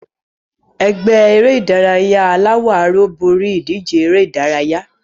Ẹgbẹ́ eré-idárayá búúlù borí ìdíje eré-idárayá.